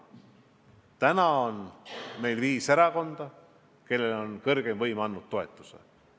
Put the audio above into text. Praegu on meil viis erakonda, kellele on kõrgeim võim andnud oma toetuse.